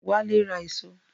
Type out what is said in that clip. Wálé ra èso